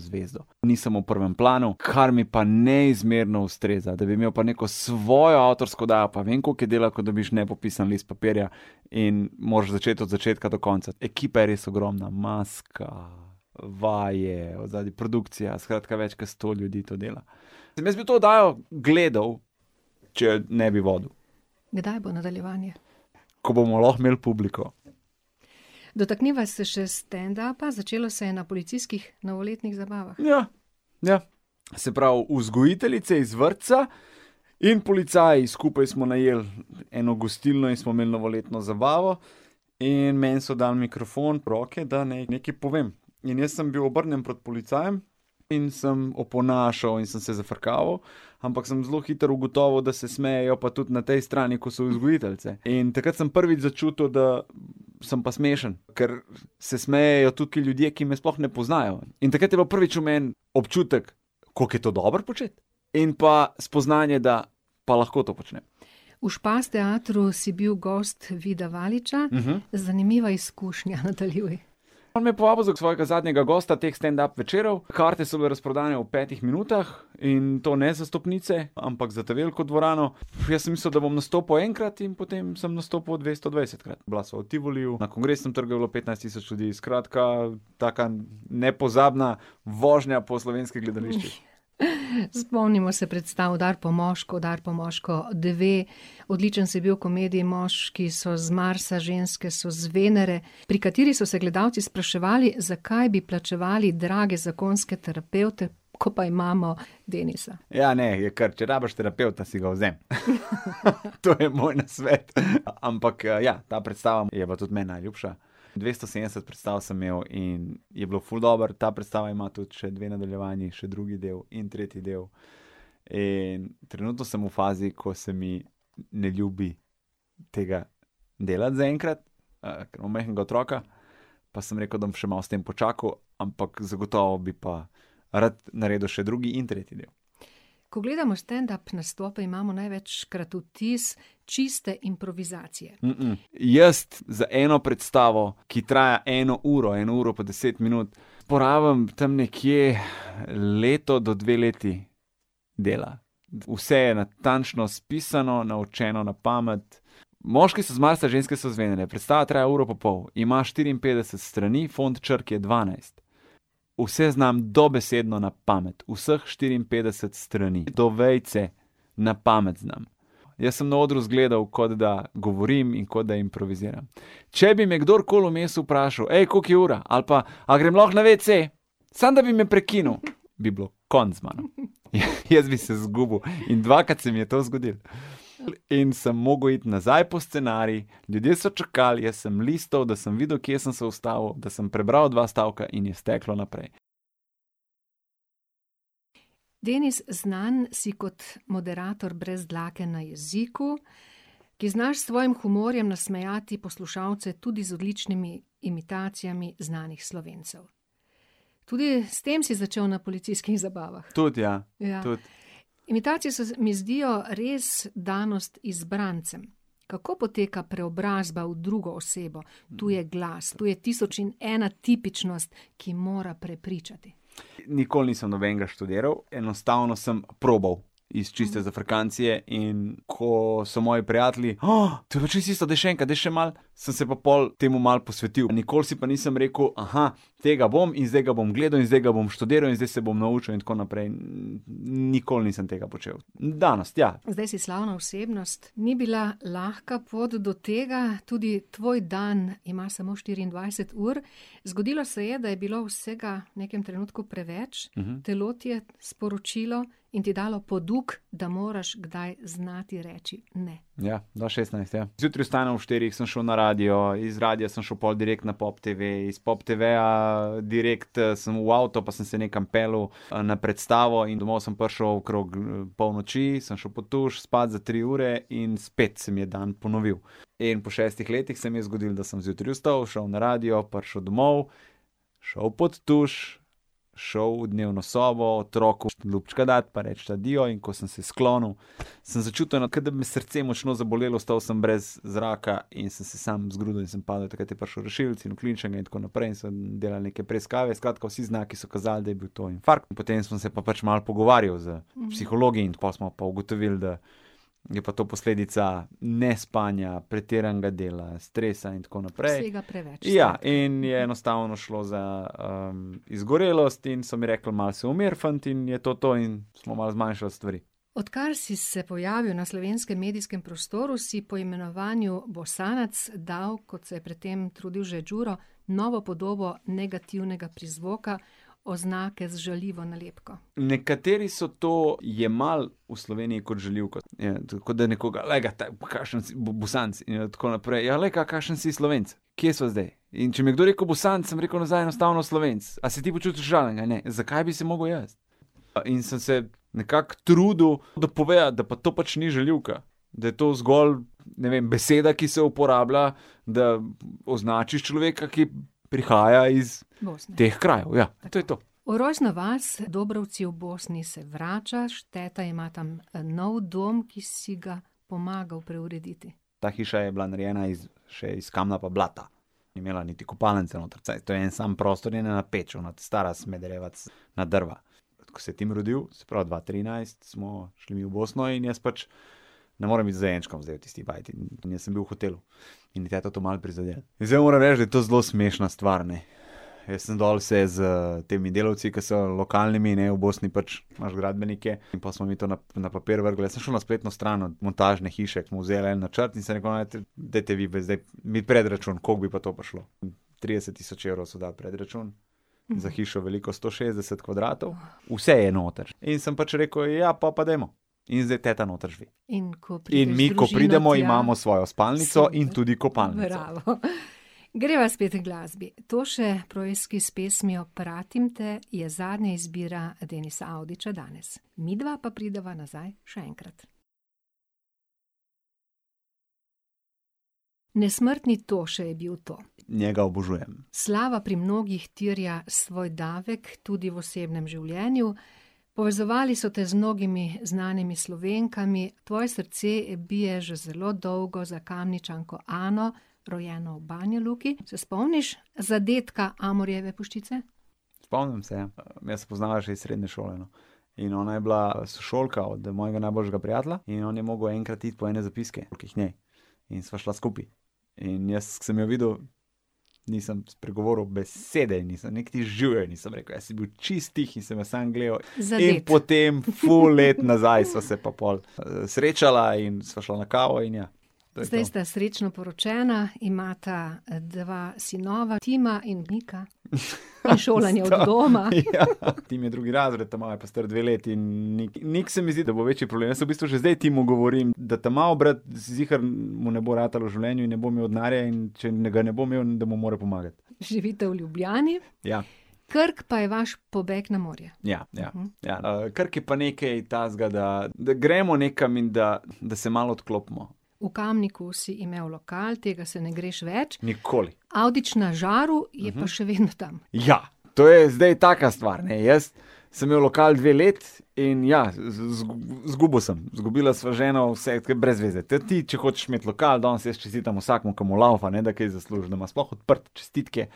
zvezdo. Nisem v prvem planu, kar mi pa neizmerno ustreza, da bi imeli pa neko svojo avtorsko oddajo pa ne vem, koliko je dela, ko dobiš nepopisan list papirja in moraš začeti od začetka do konca. Ekipa je res ogromna, maska, vaje, od zadaj produkcija, skratka, več kot sto ljudi to dela. Mislim, jaz bi to oddajo gledal, če je ne bi vodil. Kdaj bo nadaljevanje? Ko bomo lahko imel publiko. Dotakniva se še standupa, začelo se je na policijskih novoletnih zabavah. Ja, ja. Se pravi, vzgojiteljice iz vrtca in policaji skupaj smo najeli eno gostilno in smo imeli novoletno zabavo. In meni so dali mikrofon v roke, da naj nekaj povem. In jaz sem bil obrnjen proti policajem in sem oponašal in sem se zafrkaval, ampak sem zelo hitro ugotovil, da se smejejo pa tudi na tej strani, ko so vzgojiteljice. In takrat sem prvič začutil, da sem pa smešen. Ker se smejejo tukaj ljudje, ki me sploh ne poznajo. In takrat je bilo prvič v meni občutek, koliko je to dobro početi, in pa spoznanje, da pa lahko to počnem. V Špas teatru si bil gost Vida Valiča. Zanimiva izkušnja, nadaljuj. On me je povabil za svojega zadnjega gosta teh standup večerov, karte so bile razprodane v petih minutah in to ne za stopnice, ampak za ta veliko dvorano. Jaz sem mislil, da bom nastopil enkrat, in potem sem nastopil dvestodvajsetkrat. Bila sva v Tivoliju, na Kongresnem trgu je bilo petnajst tisoč ljudi, skratka, taka nepozabna vožnja po slovenskih gledališčih. Spomnimo se predstav Udari po moško, Udari po moško dve, odličen si bil v komediji Moški so z Marsa, ženske so z Venere, pri kateri so se gledalci spraševali, zakaj bi plačevali drage zakonske terapevte, ko pa imamo Denisa. Ja, ne, je kar, če rabiš terapevta, si ga vzemi. To je moj nasvet, ampak, ja, ta predstava je pa tudi meni najljubša. Dvesto sedemdeset predstav sem imel in je bilo ful dobro, ta predstava ima tudi še dve nadaljevanji, še drugi del in tretji del. In trenutno sem v fazi, ko se mi ne ljubi tega delati zaenkrat, ker imam majhnega otroka, pa sem rekel, da bom še malo s tem počakal, ampak zagotovo bi pa rad naredil še drugi in tretji del. Ko gledamo standup nastope, imamo največkrat vtis čiste improvizacije. jaz za eno predstavo, ki traja eno uro, eno uro pa deset minut, porabim tam nekje leto do dve leti dela. Vse je natančno napisano, naučeno na pamet. Moški so z Marsa, ženske so z Venere. Predstava traja uro pa pol. Ima štiriinpetdeset strani, font črk je dvanajst. Vse znam dobesedno na pamet. Vseh štiriinpetdeset strani, do vejice, na pamet znam. Jaz sem na odru izgledal, kot da govorim in kot da improviziram. Če bi me kdorkoli vmes vprašal: koliko je ura," ali pa: "A grem lahko na wc?", samo da bi me prekinil, bi bilo konec z mano. Jaz bi se zgubil in dvakrat se mi je to zgodilo. In sem mogel iti nazaj po scenarij, ljudje so čakali, jaz sem listal, da sem videl, kje sem se ustavil, da sem prebral dva stavka in je steklo naprej. Denis, znan si kot moderator brez dlake na jeziku, ki znaš s svojih humorjem nasmejati poslušalce tudi z odličnimi imitacijami znanih Slovencev. Tudi s tem si začel na policijskih zabavah. Tudi, ja. Ja. Tudi. Imitacije se mi zdijo res danost izbrancem. Kako poteka preobrazba v drugo osebo? Tu je glas, tu je tisoč in ena tipičnost, ki mora prepričati. Nikoli nisem nobenega študiral, enostavno sem probal iz čiste zafrkancije, in ko so moji prijatelji: to je pa čisto isto, daj še enkrat, daj še malo," sem se pa pol temu malo posvetil, nikoli si pa nisem rekel: tega bom in zdaj ga bom gledal in zdaj ga bom študiral in zdaj se bom naučil in tako naprej." Nikoli nisem tega počel. Danost ja. Zdaj si slavna osebnost, ni bila lahka pot do tega, tudi tvoj dan ima samo štiriindvajset ur. Zgodilo se je, da je bilo vsega v nekem trenutku preveč. Telo ti je sporočilo in ti dalo poduk, da moraš kdaj znati reči ne. Ja. Dva šestnajst, ja. Zjutraj vstanem ob štirih, sem šel na radio, iz radia sem šel pol direkt na Pop TV, iz Pop TV-ja direkt, sem v avto pa sem se nekam peljal, na predstavo, in domov sem prišel okrog, polnoči, sem šel pod tuš, spat za tri ure in spet se mi je dan ponovil. In pol šestih letih se mi je zgodilo, da sem zjutraj vstal, šel na radio, prišel domov, šel pod tuš, šel v dnevno sobo, otroku ljubčka dat pa reč adijo, in ko sem se sklonu, samo začutil eno, kot da bi me srce močno zabolelo, ostal sem brez zraka in sem se samo zgrudil in sem padel, takrat je prišel rešilec in v klinični in tako naprej, so mi delali neke preiskave, skratka, vsi znaki so kazali, da je bil to infarkt, potem smo se pa pač malo pogovarjali s psihologi in pol smo pa ugotovili, da je pa to posledica nespanja, pretiranega dela, stresa in tako naprej. Vsega preveč. Ja, in je enostavno šlo za, izgorelost in so mi rekli: "Malo se umiri, fant," in je to to in smo malo zmanjšali stvari. Odkar si se pojavil na slovenskem medijskem prostoru, si po imenovanju Bosanac dal, kot se je pred tem trudil že Đuro, novo podobo negativnega prizvoka, oznake z žaljivo nalepko. Nekateri so to jemali v Sloveniji kot žaljivko. Je kot da nekoga: "Glej ga, pa kakšen si Bosanec!" In je tako naprej. Ja, glej ga, kakšen si Slovenec! Kje sva zdaj? In če mi je kdo rekel Bosanec, sem rekel nazaj enostavno Slovenec. A se ti počutiš užaljenega? Ne. Zakaj bi se mogel jaz? in sem se nekako trudil, dopovedati, da pa to pač ni žaljivka. Da je to zgolj, ne vem, beseda, ki se uporablja, da označiš človeka, ki prihaja iz ... Bosne. ... teh krajev, ja. To je to. V rojstno vas, Dobrovci v Bosni, se vračaš, teta ima tam, nov dom, ki si ga pomagal preurediti. Ta hiša je bila narejena iz, še iz kamna pa blata. Ni imela niti kopalnice noter. Saj to je en sam prostor in ena peč, ona ta stara, smederevac, na drva. Ko se je Tim rodil, se pravi dva trinajst, smo šli mi v Bosno, in jaz pač ne morem biti z dojenčkom zdaj v tisti bajti. In jaz sem bil v hotelu. In je teto to malo prizadelo. Zdaj moram reči, da je to zelo smešna stvar, ne. Jaz sem dol se s temi delavci, ki so, lokalnimi, ne, v Bosni pač imaš gradbenike, in pol smo mi to na, na papir vrgli, jaz sem šel na spletno stran od montažne hiše, smo vzeli en načrt in sem rekel: "No, dajte vi pa zdaj mi predračun, koliko bi pa to prišlo." Trideset tisoč evrov so dali predračun. Za hišo, veliko sto šestdeset kvadratov. Vse je noter. In sem pač rekel: "Ja, po pa dajmo." In zdaj teta noter živi. In ko prideš z družino tja ... In mi ko pridemo, imamo svojo spalnico in tudi kopalnico. Bravo, . Greva spet h glasbi. Toše Proeski s pesmijo Pratim te, je zadnja izbira Denisa Avdića danes. Midva pa prideva nazaj še enkrat. Nesmrtni Toše je bil to. Njega obožujem. Slava pri mnogih terja svoj davek, tudi v osebnem življenju. Povezovali so te z mnogimi znanimi Slovenkami, tvoje srce bije že zelo dolgo za Kamničanko Ano, rojeno v Banja Luki. Se spomniš zadetka Amorjeve puščice? Spomnim se, ja. midva se poznava že iz srednje šole, no. In ona je bila sošolka od mojega najboljša prijatelja in on je mogel enkrat iti po ene zapiske k njej. In sva šla skupaj. In jaz, ke sem jo videl, in sem spregovoril, besede ji nisem, niti živjo ji nisem rekel, jaz sem bil čisto tiho in sem jo samo gledal. Zadet. In potem ful let nazaj sva se pa pol, srečala in sva šla na kavo in ja. To je to. Zdaj sta srečno poročena, imata, dva sinova, Tima in Nika. sta ... Ja. Šolanje od doma. Tim je drugi razred, ta mali je pa star dve leti in Nik, se mi zdi, da bo večji problem, jaz v bistvu že zdaj Timu govorim, da ta mali brat, si ziher, mu ne bo ratalo v življenju in ne bo imel denarja, in če ne, ga ne bo imel, da mu mora pomagati. Živite v Ljubljani. Ja. Krk pa je vaš pobeg na morje. Ja, ja. Ja, Krk je pa nekaj takega, da, da gremo nekam in da, da se malo odklopimo. V Kamniku si imel lokal, tega se ne greš več. Nikoli. Avdić na žaru je pa še vedno tam. Ja. To je zdaj taka stvar, ne, jaz sem imel lokal dve leti in ja, zgubil sem, zgubila sva z ženo vse, ke je brez veze. ti, če hočeš imeti lokal, danes jaz čestitam vsakemu, ki mu lavfa, ne da kaj zasluži, da ima sploh odprto, čestitke.